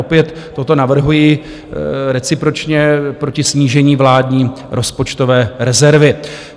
Opět toto navrhuji recipročně proti snížení vládní rozpočtové rezervy.